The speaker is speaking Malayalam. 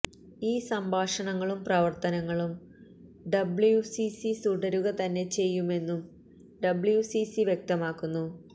ഈ സംഭാഷണങ്ങളും പ്രവര്ത്തനങ്ങളും ഡബ്ളുസിസി തുടരുക തന്നെ ചെയ്യുമെന്നും ഡബ്ളുസിസി വ്യക്തമാക്കുന്നു